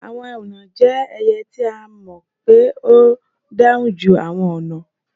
Àwọn èúnà jẹ́ ẹyẹ ti a mọ́ pé ó dáúnjú awọn ọ̀nà.